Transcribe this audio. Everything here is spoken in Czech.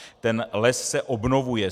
Ten les se obnovuje.